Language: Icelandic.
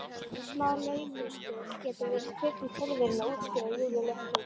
Smá laumuspil getur verið krydd í tilveruna, útskýrir Júlía léttúðug.